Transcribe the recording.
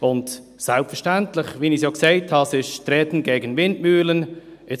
Und selbstverständlich ist es ein Treten gegen Windmühlen, wie ich ja gesagt habe.